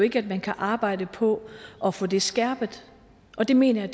ikke at man kan arbejde på at få det skærpet og det mener jeg